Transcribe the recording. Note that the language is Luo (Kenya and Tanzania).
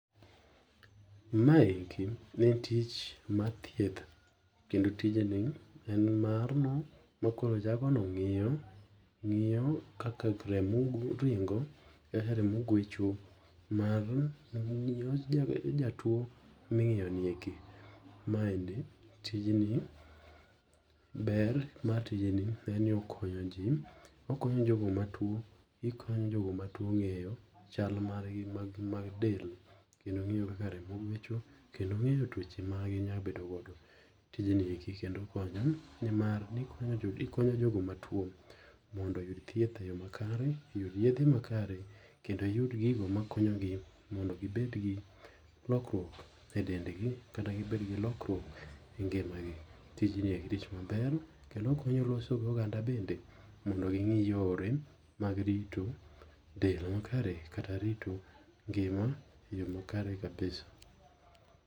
Maendi en tich mar thieth kendo tijni en marno makoro jagono ng'iyo, ng'iyo kaka remo ringo kaka remo gwecho mar jatuo ming'iyoni eki .Maendi tijni ber, mar tijni en ni okonyo ji, okonyo jogo matuo okonyo jogo matuo ng'eyo chal margi mag del kendo ng'eyo kaka remo gwecho kendo ng'eyo tuoche ma ginyalo bedo godo. Tijni kendo konyo nimar okonyo jogo matuo mondo oyud thieth eyoo makare, oyud yedhe makare, kendo yud gigo makonyogi mondo gibed gi lokruok edendgi kata gibed gi lokruok e ngimagi. Tijni en tich maber kendo okonyo loso goganda bende mondo ging'i yore mag rito del makare kata rito ngima eyoo makare kabisa.